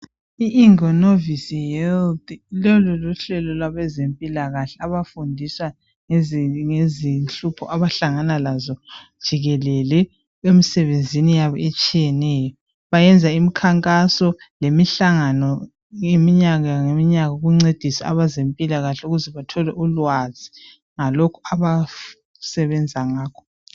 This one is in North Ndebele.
Iingenovis health lolu luhlelo lwabezempilakahle abafundisa ngezinhlupho abahlangana lazo jikelele emsebenzini yabo etshiyeneyo. Bayenza imikhankaso lemihlangano ngeminyaka ngeminyaka ukuncedisa abezempilakahle ukuze bathole ulwazi ngalokhu abasebenza ngakho.